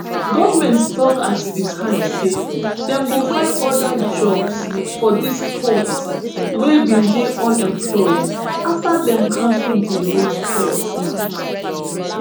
goment tok at di time say dem go find oda jobs for dis pwds wey bin dey unemployed afta dem cancel di road tolls.